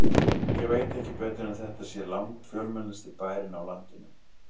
Ég veit ekki betur en þetta sé langfjölmennasti bærinn á landinu.